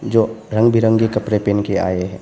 जो रंग बिरंगी कपड़े पहन के आए हैं।